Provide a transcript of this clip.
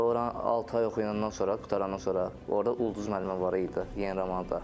Sonra ora altı ay oxuyandan sonra, qurtarandan sonra orada Ulduz müəllimə var idi Yenə romanda.